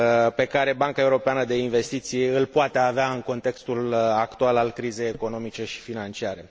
pe care Banca Europeană de Investiții îl poate avea în contextul actual al crizei economice și financiare.